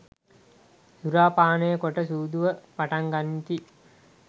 සුරාපානය කොට සූදුව පටන්ගනිති.